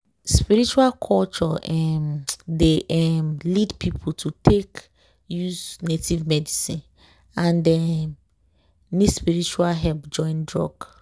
spiritual culture um dey um lead people to take use native medicine and e um need spiritual help join drug.